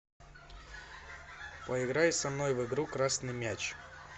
поиграй со мной в игру красный мяч